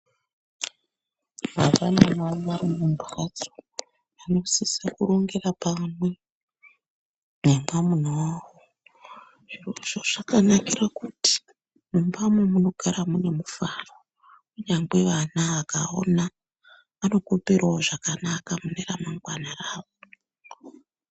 Baba namai vaeimumbatso vanosisira kurongera pamwe nemwamuna wawo zvirozvo zvakanakire kuti mumbamwo munogara mune mufaro kunyangwe vana vakaona vanokoperawo zvakanaka mune ramangwana rawo.